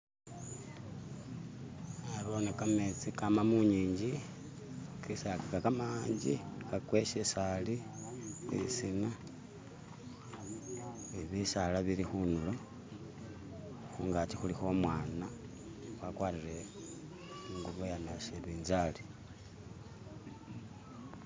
nabone kametsi kama munging'i nga kamangi kwaka ishisaali mwisina ni bisaala bili khunulo khungaki khulikho umwana wakwarire ingubo iya nabinzari.